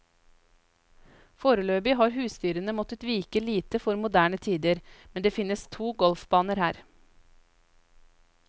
Foreløpig har husdyrene måttet vike lite for moderne tider, men det finnes to golfbaner her.